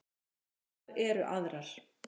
Kröfurnar eru aðrar.